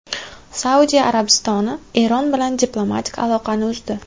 Saudiya Arabistoni Eron bilan diplomatik aloqalarni uzdi .